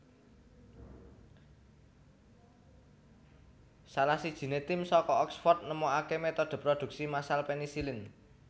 Salah sijiné tim saka Oxford nemokaké metode produksi massal penisilin